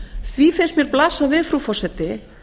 því finnst mér blasa við frú forseti